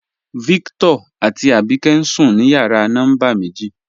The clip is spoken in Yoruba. Víctọ̀r àtí Àbíkẹ̀ ǹ sùn ní yàrà nọ́mbà mẹ̀jì.